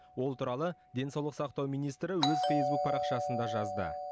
ол туралы денсаулық сақтау министрі өз фейзбук парақшасында жазды